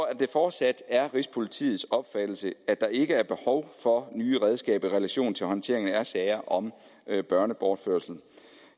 at det fortsat er rigspolitiets opfattelse at der ikke er behov for nye redskaber i relation til håndteringen af sager om børnebortførelser